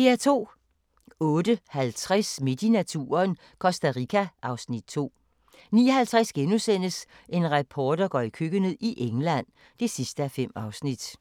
08:50: Midt i naturen - Costa Rica (Afs. 2) 09:50: En reporter går i køkkenet – i England (5:5)*